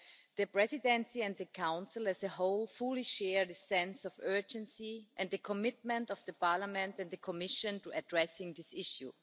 The Presidency and the Council as a whole fully share the sense of urgency and the commitment of Parliament and the Commission to addressing this issue.